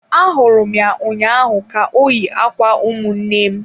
Ahụrụ m ya ụnyaahụ ka o yi ákwà ụmụnne m.